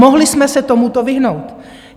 Mohli jsme se tomuto vyhnout.